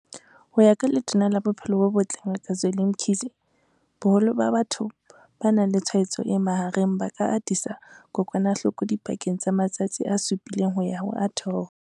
Ho ya ka Letona la Bophelo bo Botle Ngaka Zweli Mkhize, boholo ba batho ba nang le tshwaetso e mahareng ba ka atisa kokwanahloko dipakeng tsa matsatsi a supileng ho ya ho a 12.